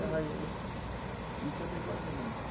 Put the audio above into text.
De arraiolo, é. E você tem quantos irmãos?